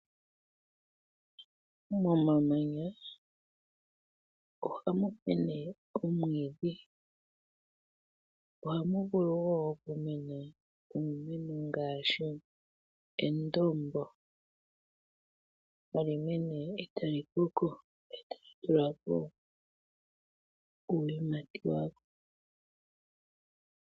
Momamanya ohamu mene omwiidhi, ohamu vulu wo okumena uumeno ngaashi endombo. Ha li mene e ta li koko, e ta li tula ko uuyimati wawo.